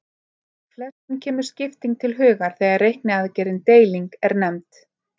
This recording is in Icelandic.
Flestum kemur skipting til hugar þegar reikniaðgerðin deiling er nefnd.